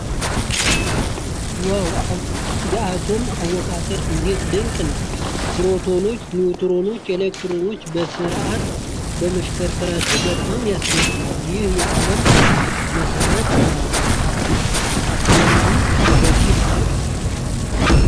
ዋው! የአቶም አወቃቀር እንዴት ድንቅ ነው! ፕሮቶኖች፣ ኒውትሮኖችና ኤሌክትሮኖች በስርዓት መሽከረከራቸው በጣም ያስገርማል! ይህ የዓለም መሰረት ነው! አትገርሙም በዚህ ስራ።